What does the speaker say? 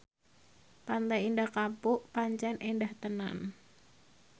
Pantai Indah Kapuk pancen endah tenan